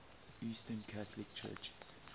eastern catholic churches